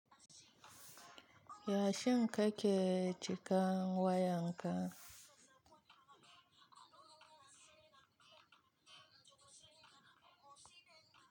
Yashin ka ke cika wayan ka?